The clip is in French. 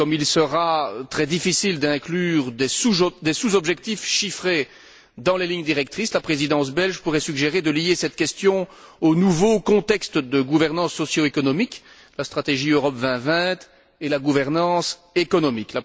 Et comme il sera très difficile d'inclure des sous objectifs chiffrés dans les lignes directrices, la Présidence belge pourrait suggérer de lier cette question au nouveau contexte de gouvernance socio économique, la stratégie Europe 2020, et la gouvernance économique.